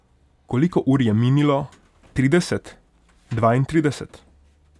Koliko ur je minilo, trideset, dvaintrideset?